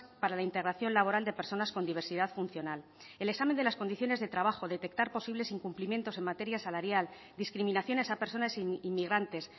para la integración laboral de personas con diversidad funcional el examen de las condiciones de trabajo detectar posibles incumplimientos en materia salarial discriminaciones a personas inmigrantes